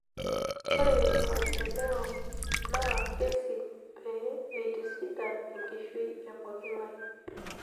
Ore maendeleo naa kesi pee eitisidan enkishui e pooking'ae.